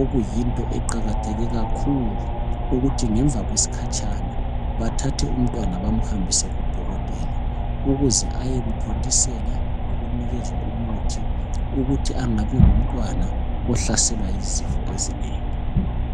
okuyinto eqakatheke kakhulu ukuthi ngemva kwesikhatshana bathathe umntwana bamhambise kudokotela ukuze ayemthontisela lokunikezwa umuthi ukuthi engabi ngumntwana ohlaselwa yizifo ezinengi.